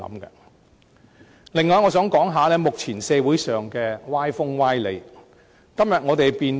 此外，我想談談目前社會上的歪風、歪理。